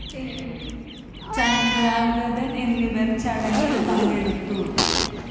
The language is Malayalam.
ചന്ദ്രാംഗതന്‍ എന്നിവര്‍ ചടങ്ങില്‍ പങ്കെടുത്തു